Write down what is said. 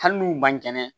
Hali n'u man kɛnɛ